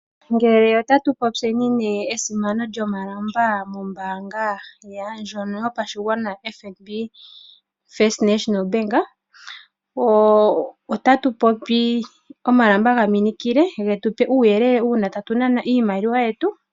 Ngele tatu popyeni esimano lyomalamba mombaanga ndjono yopashigwana ano oFNB. Otatu popi omalamba ga minikile, ge tu pe uuyelele uuna tatu nana oshimaliwa shetu.